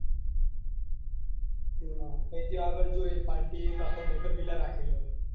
ના પહી ત્યો આગળ જો એ party એ પાછો મોટો villa રાખેલો છે.